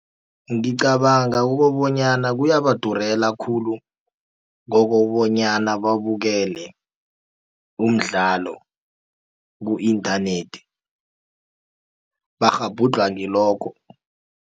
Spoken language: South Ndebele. Ngicabanga ukobonyana kuyabadurela khulu kokobonyana babukele umdlalo ku-internet bakghabhudlhwa ngilokho.